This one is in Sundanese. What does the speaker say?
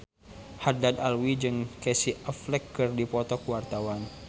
Haddad Alwi jeung Casey Affleck keur dipoto ku wartawan